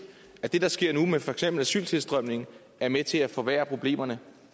at det der sker nu med for eksempel asyltilstrømningen er med til at forværre problemerne